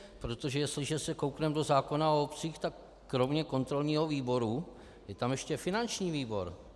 Protože jestliže se koukneme do zákona o obcích, tak kromě kontrolního výboru je tam ještě finanční výbor.